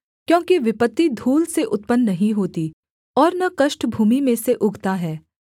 क्योंकि विपत्ति धूल से उत्पन्न नहीं होती और न कष्ट भूमि में से उगता है